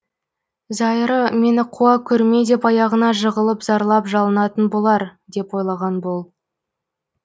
зайыры мені қуа көрме деп аяғына жығылып зарлап жалынатын болар деп ойлаған бұл